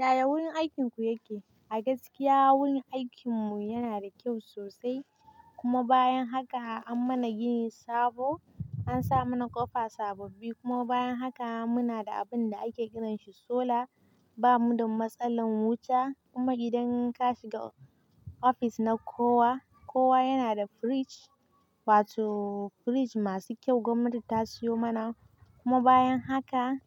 Yaya wurin aikin ku yake? A gaskiya wurin aikin mu yana da kyau sosai kuma bayan haka an mana gini sabo, an sa mana kofa sababbi kuma bayan haka muna da abun da ake kiranshi solar, bamu da matsalan wuta kuma idan ka shiga o-- ofis na kowa, kowa yana da fridge wato fridge masu kyau gwamnati ta siyo mana kuma bayan haka